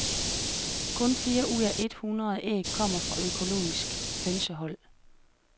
Kun fire ud af et hundrede æg kommer fra økologiske hønsehold.